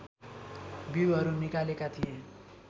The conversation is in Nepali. बिउहरू निकालेका थिए